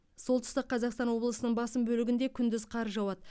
солтүстік қазақстан облысының басым бөлігінде күндіз қар жауады